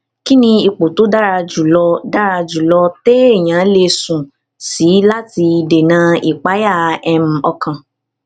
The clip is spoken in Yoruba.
kí ni ipò tó dára jù lọ dára jù lọ téèyàn lè sùn sí láti dènà ìpayà um ọkàn